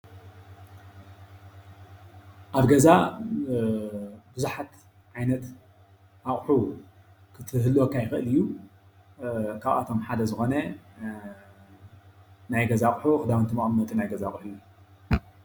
ኣብ ገዛ ብዙሓት ዓይነት አቁሑት ክህልወካ ይክእል እዩ ካብአቶም ሓደ ዝኮነ ናይ ገዛ ኣቁሑ ክዳውንቲ መቀመጢ ናይ ገዛ ኣቁሑ እዩ፡፡